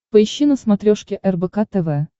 поищи на смотрешке рбк тв